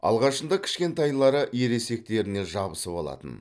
алғашында кішкентайлары ересектеріне жабысып алатын